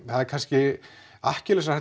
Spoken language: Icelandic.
það er kannski